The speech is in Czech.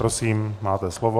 Prosím, máte slovo.